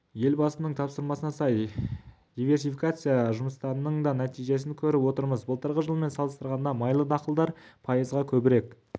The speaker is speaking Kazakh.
елбасының тапсырмасына сай диверсификация жұмыстарының да нәтижиесін көріп отырмыз былтырғы жылмен салыстырғанда майлы дақылдар пайызға көбірек